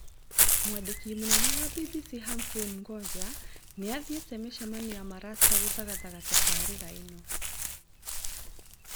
Mwandĩki wa BBC Humphrey mngoja nĩathiĩte mĩcemanio ya marasta gũthagathaga tabarĩra ĩno